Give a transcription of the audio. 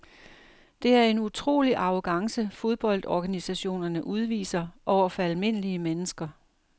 Det er en utrolig arrogance fodboldorganisationerne udviser over for almindelige mennesker.